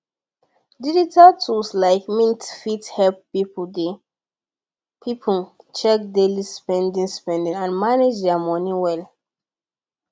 digital tools like mint fit help people check daily spending spending and manage their money well